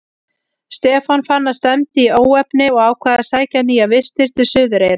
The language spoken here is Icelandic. Stefán fann að stefndi í óefni og ákvað að sækja nýjar vistir til Suðureyrar.